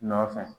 Nɔfɛ